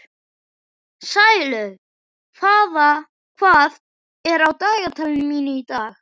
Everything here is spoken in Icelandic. Sælaug, hvað er á dagatalinu mínu í dag?